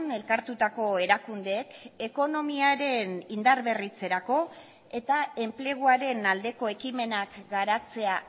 elkartutako erakundeek ekonomiaren indarberritzerako eta enpleguaren aldeko ekimenak garatzea